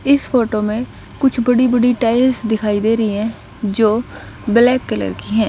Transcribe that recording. इस फोटो में कुछ बड़ी बड़ी टाइल्स दिखाई दे रही हैं जो ब्लैक कलर की हैं।